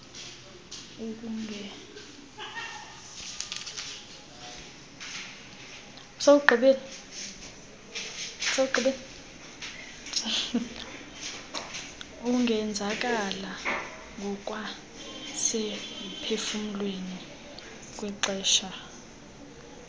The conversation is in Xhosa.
ungenzakala ngokwasemphefumlweni kwixesha